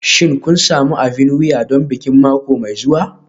Shin kun sami abin wuya don bikin mako mai zuwa?